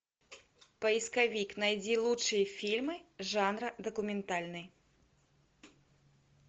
поисковик найди лучшие фильмы жанра документальный